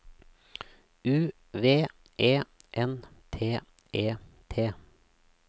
U V E N T E T